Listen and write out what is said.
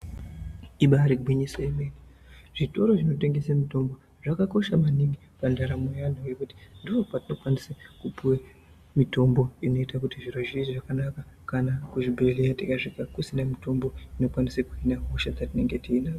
Ibairi gwinyiso remene, zvitoro zvinotengese mitombo zvakakosha maningi pandaramo yeantu ngekuti ndikokwatinokwanise kupuwe mitombo inoite kuti zviro zviite zvakanaka kana kuzvibhedhlera tikasvike kusina mitombo dzinokwanise kuhine hosha dzatinenge tiinadzo.